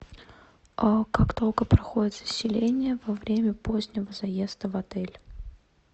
как долго проходит заселение во время позднего заезда в отель